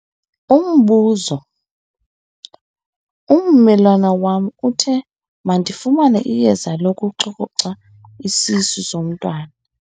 Umbuzo- Ummelwane wam uthe mandifumane iyeza lokucoca isisu somntwana wam.